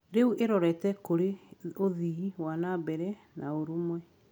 Rĩu ĩrorete kũrĩ ũthii wa na mbere na ũrũmwe.